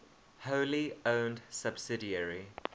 wholly owned subsidiary